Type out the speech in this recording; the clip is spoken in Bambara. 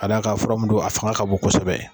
Ka da kan fura min don a fanga ka bɔ kosɛbɛ